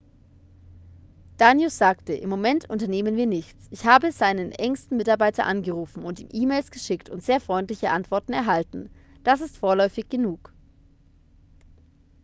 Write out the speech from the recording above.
danius sagte im moment unternehmen wir nichts ich habe seinen engsten mitarbeiter angerufen und ihm e-mails geschickt und sehr freundliche antworten erhalten das ist vorläufig genug